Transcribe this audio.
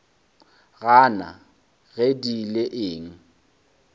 gana ge di ile eng